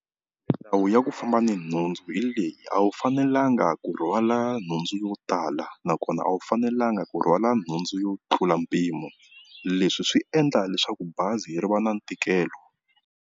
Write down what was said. Ndhawu ya ku famba ni nhundzu hi leyi a wu fanelanga ku rhwala nhundzu yo tala nakona a wu fanelanga ku rhwala nhundzu yo tlula mpimo, leswi swi endla leswaku bazi ri va na ntikelo.